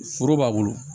Foro b'a bolo